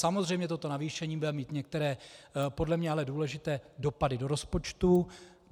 Samozřejmě toto navýšení bude mít některé podle mě ale důležité dopady do rozpočtu.